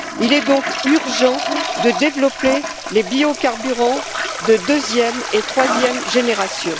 Il est donc urgent de développer les biocarburants de deuxième et troisième générations.